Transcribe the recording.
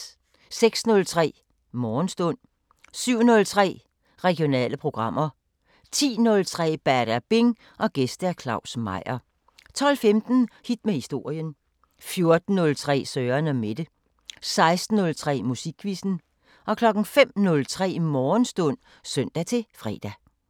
06:03: Morgenstund 07:03: Regionale programmer 10:03: Badabing: Gæst Claus Meyer 12:15: Hit med historien 14:03: Søren & Mette 16:03: Musikquizzen 05:03: Morgenstund (søn-fre)